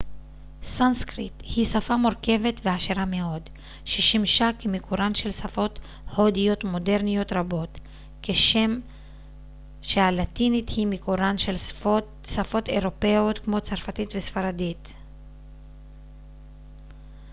סנסקריט היא שפה מורכבת ועשירה מאוד ששימשה כמקורן של שפות הודיות מודרניות רבות כשם שהלטינית היא מקורן של שפות אירופאיות כמו צרפתית וספרדית